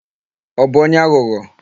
Ọ bụ onye aghụghọ?